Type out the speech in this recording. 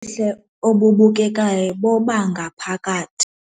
Ubuhle obubukekayo bobangaphakathi.